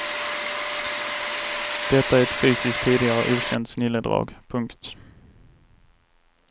Detta är ett fysiskt tidigare okänt snilledrag. punkt